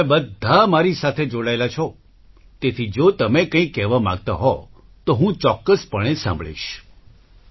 તમે બધા મારી સાથે જોડાયેલા છો તેથી જો તમે કંઈક કહેવા માંગતા હો તો હું ચોક્કસપણે સાંભળીશ